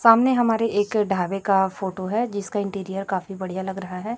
सामने हमारे एक ढाबे का फोटो है जिसका इंटीरियर काफी बढ़िया लग रहा है।